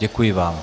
Děkuji vám.